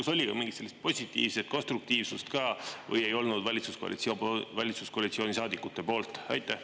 Kas oli ka mingit sellist positiivset konstruktiivsust ka või ei olnud valitsuskoalitsiooni saadikute poolt?